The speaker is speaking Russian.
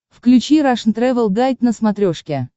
включи рашн тревел гайд на смотрешке